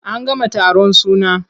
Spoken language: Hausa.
An gama taron suna.